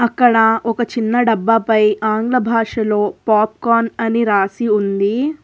అక్కడ ఒక చిన్న డబ్బా పై ఆంగ్ల భాషలో పాప్కాన్ అని రాసి ఉంది.